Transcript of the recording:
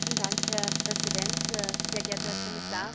Herr Präsident, sehr geehrter Herr Kommissar!